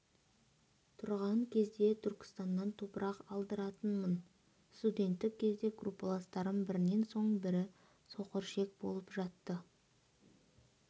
тұрған кезде түркістаннан топырақ алдыратынмын студенттік кезде группаластарым бірінен соң бірі соқыр ішек болып жатты